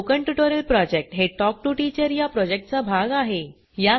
spoken tutorial project हे talk to teacher या प्रॉजेक्टचा भाग आहे